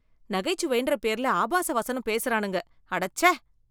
நகைச்சுவைன்ற பேர்ல ஆபாச வசனம் பேசுறானுங்க, அடச்சே.